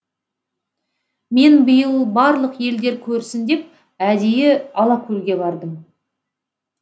мен биыл барлық елдер көрсін деп әдейі алакөлге бардым